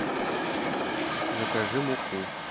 закажи муку